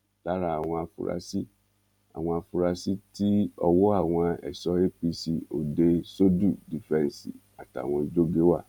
lára àwọn afurasí àwọn afurasí tí ọwọ àwọn ẹṣọ apc òde söldù dífẹǹsì àtàwọn jorge wà